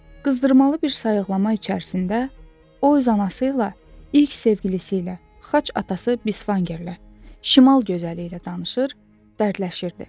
Qızdırmalı bir sayıqlama içərisində o öz anası ilə, ilk sevgilisi ilə, xaç atası Bisvangerlə, şimal gözəli ilə danışır, dərdləşirdi.